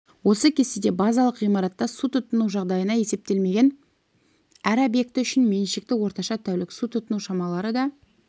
осы кестеде базалық ғимаратта су тұтыну жағдайына есептелмеген әр объекті үшін меншікті орташа тәулік су тұтыну шамалары да